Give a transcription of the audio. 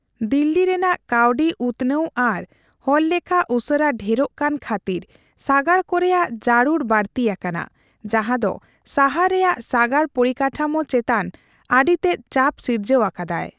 ᱫᱤᱞᱞᱤ ᱨᱮᱱᱟᱜ ᱠᱟᱣᱰᱤ ᱩᱛᱱᱟᱹᱣ ᱟᱨ ᱦᱚᱲᱞᱮᱠᱷᱟ ᱩᱥᱟᱹᱨᱟ ᱰᱷᱮᱨᱚᱜ ᱠᱟᱱ ᱠᱷᱟᱛᱤᱨ ᱥᱟᱜᱟᱲ ᱠᱚᱨᱮᱭᱟᱜ ᱡᱟᱹᱨᱩᱲ ᱵᱟᱹᱲᱛᱤ ᱟᱠᱟᱱᱟ, ᱡᱟᱦᱟᱸ ᱫᱚ ᱥᱟᱦᱟᱨ ᱨᱮᱭᱟᱜ ᱥᱟᱜᱟᱲ ᱯᱚᱨᱤᱠᱟᱴᱷᱟᱢᱳ ᱪᱮᱛᱟᱱ ᱟᱹᱰᱤ ᱛᱮᱫ ᱪᱟᱯ ᱥᱤᱨᱡᱟᱹᱣ ᱟᱠᱟᱫᱟᱭ ᱾